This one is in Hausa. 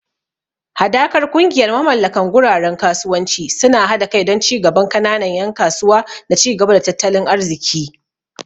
Hadakar kungiyar mamallakan guraren kasuwanci suna hada kai don ci gaban kananan yan kasuwa da ci gaba na tattalin arziki.